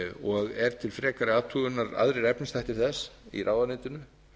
og eru aðrir efnisþættir þess til frekari athugunar í ráðuneytinu